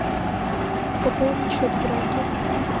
пополнить счет брату